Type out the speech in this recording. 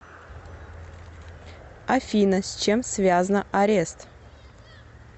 афина с чем связна арест